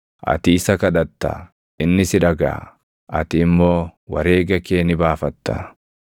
Ati isa kadhatta; inni si dhagaʼa; ati immoo wareega kee ni baafatta.